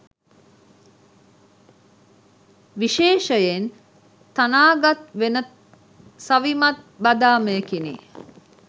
විශේෂයෙන් තනාගත් වෙනත් සවිමත් බදාමයකිනි.